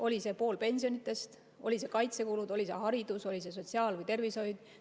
Oli see pool pensionidest, olid need kaitsekulud, oli see haridus, oli see sotsiaalvaldkond või tervishoid?